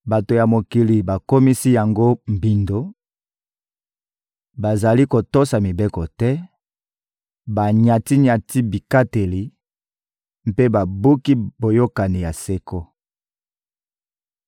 Bato ya mokili bakomisi yango mbindo, bazali kotosa mibeko te; banyati-nyati bikateli mpe babuki boyokani ya seko.